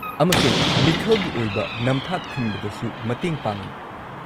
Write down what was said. -ꯑꯃꯁꯨꯡ ꯃꯤꯈꯜꯒꯤ ꯑꯣꯏꯕ ꯅꯝꯊꯥꯛ ꯊꯤꯡꯕꯗꯁꯨ ꯃꯇꯦꯡ ꯄꯥꯡꯏ꯫